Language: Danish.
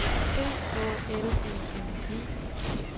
B Å L E N E